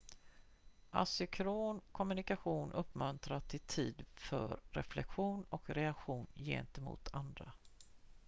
asynkron kommunikation uppmuntrar till tid för reflektion och reaktion gentemot andra